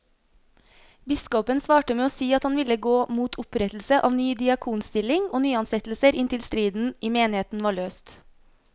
Biskopen svarte med å si at han ville gå mot opprettelse av ny diakonstilling og nyansettelser inntil striden i menigheten var løst.